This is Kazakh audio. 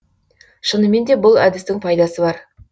шынымен де бұл әдістің пайдасы бар